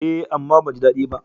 Eh, amma ban ji daɗi ba.